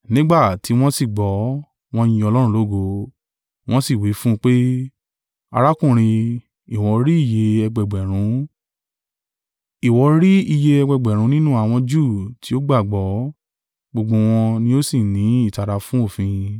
Nígbà tí wọ́n sì gbọ́, wọ́n yin Ọlọ́run lógo, wọ́n sì wí fún un pé, “Arákùnrin, ìwọ rí iye ẹgbẹẹgbẹ̀rún nínú àwọn Júù tí ó gbàgbọ́, gbogbo wọn ni ó sì ní ìtara fún òfin.